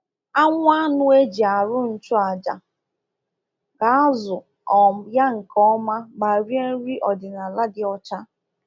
Anwụ anụ eji arụ nchụ aja ga-azụ um ya nke ọma ma rie nri ọdịnala dị ọcha.”